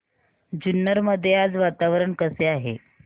जुन्नर मध्ये आज वातावरण कसे आहे